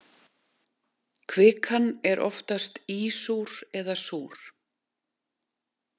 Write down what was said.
Kvikan er oftast ísúr eða súr.